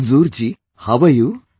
Manzoor ji, how are you